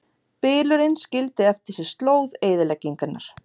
Bylurinn skildi eftir sig slóð eyðileggingar